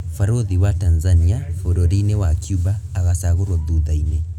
Barũthi wa Tanzania bũrũri-inĩ wa Cuba agacagũrwo thutha-inĩ.